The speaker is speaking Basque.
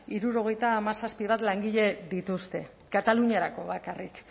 hirurogeita hamazazpi bat langile dituzte kataluniarako bakarrik